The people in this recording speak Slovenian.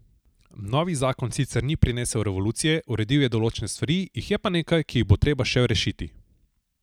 Novi zakon sicer ni prinesel revolucije, uredil je določene stvari, jih je pa nekaj, ki jih bo treba še rešiti.